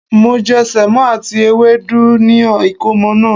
Mo je Sèmó àti ewédú ni ìkómo naa